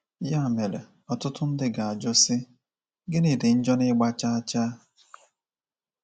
Ya mere, ọtụtụ ndị ga-ajụ, sị, ‘Gịnị dị njọ n’ịgba chaa chaa?’